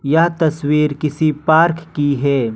यह तस्वीर किसी पार्क की है ।